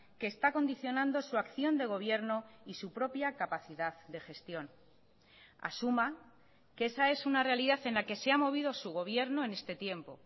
que está condicionando su acción de gobierno y su propia capacidad de gestión asuma que esa es una realidad en la que se ha movido su gobierno en este tiempo